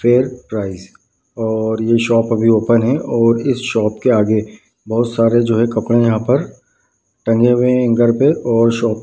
prayer price और ये shop अभी ओपन है और इस शॉप के आगे बहुत सारे जो है कपड़े है यहाँ पर टंगे हुए है हैंगर पे और शॉप --